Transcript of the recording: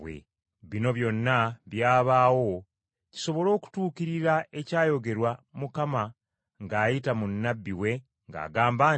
Bino byonna byabaawo kisobole okutuukirira ekyayogerwa Mukama ng’ayita mu nnabbi we ng’agamba nti,